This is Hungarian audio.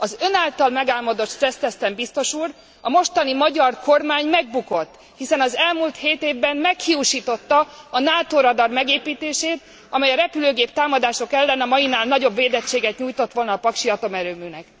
Az ön által megálmodott stresszteszten, biztos úr, a mostani magyar kormány megbukott, hiszen az elmúlt hét évben meghiúsította a NATO radar megépítését, amely a repülőgép támadások ellen a mainál nagyobb védettséget nyújtott volna a paksi atomerőműnek.